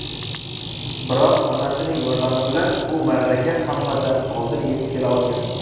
Biroq onasining yordami bilan u marraga hammadan oldin yetib kela olgan.